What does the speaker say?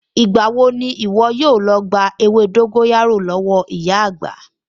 Ìgbà wo ni ìwọ yóò lọ gba ewé dóńgóyárò lọ́wọ́ ìyá àgbà?